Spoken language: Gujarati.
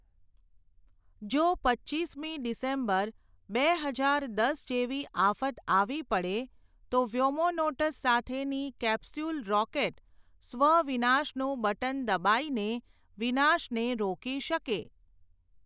જો પચ્ચીસ મી ડિસેમ્બર, બે હઝાર દસ જેવી આફત આવી પડે, તો વ્યોમોનોટસ સાથેની કેપસ્યૂલ રોકેટ, સ્વ વિનાશનું બટન દબાઈને વિનાશ ને રોકી શકે.